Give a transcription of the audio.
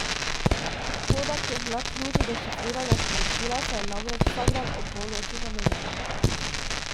Koda, ki je bila ključ dešifriranja sporočila, se je namreč vsak dan ob polnoči zamenjala.